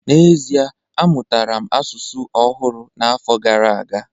N'ezie, amụtara m asụsụ ọhụrụ n'afọ gara aga